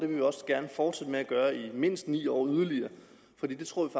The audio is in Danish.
vi også gerne fortsætte med at gøre i mindst ni år yderligere for det tror vi